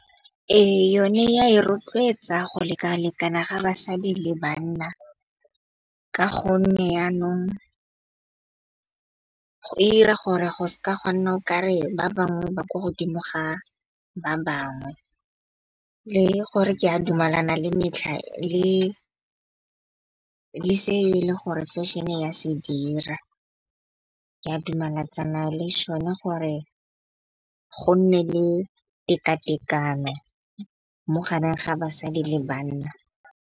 Ee, yone ya e rotloetsa go lekalekana ga basadi le banna. Ka gonne yanong ira gore go ska gwa nna o kare ba bangwe ba kwa godimo ga ba bangwe. Le gore ke a dumelana le metlha le se e le gore fashion-e ya se dira. Ke a dumelatsana le šone gore go nne le tekatekano mo gareng ga basadi le banna.